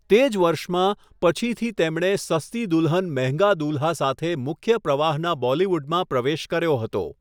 તે જ વર્ષમાં પછીથી તેમણે 'સસ્તી દુલ્હન મહેંગા દુલ્હા' સાથે મુખ્ય પ્રવાહનાં બોલીવુડમાં પ્રવેશ કર્યો હતો.